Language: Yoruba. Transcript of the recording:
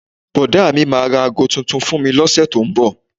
Bọ́dà mi máa ra aago tuntun fún mi lóṣù tó ń bọ̀